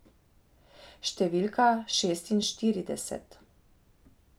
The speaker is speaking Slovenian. Številka šestinštirideset.